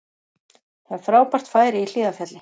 Það er frábært færi í Hlíðarfjalli